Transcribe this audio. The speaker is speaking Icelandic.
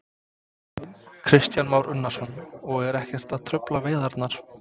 Kristján Már Unnarsson: Og eru ekkert að trufla veiðarnar?